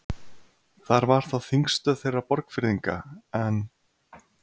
Þar var þá þingstöð þeirra Borgfirðinga, en